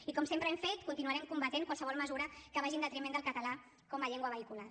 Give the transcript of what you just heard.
i com sempre hem fet continuarem combatent qualsevol mesura que vagi en detriment del català com a llengua vehicular